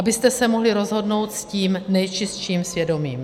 Abyste se mohli rozhodnout s tím nejčistším svědomím.